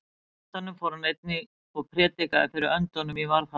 Í andanum fór hann einnig og prédikaði fyrir öndunum í varðhaldi.